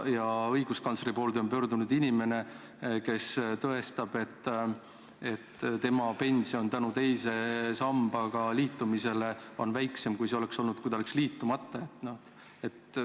Ja õiguskantsleri poole on pöördunud inimene, kes tõestab, et tema pension on teise sambaga liitumise tõttu väiksem, kui see oleks olnud siis, kui ta oleks liitumata jätnud.